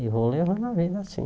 E vou levando a vida assim.